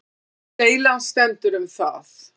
Deilan stendur um það